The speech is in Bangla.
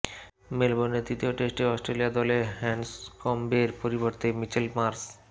মেলবোর্নে তৃতীয় টেস্টে অস্ট্রেলিয়া দলে হ্যান্ডসকম্বের পরিবর্তে মিচেল মার্শ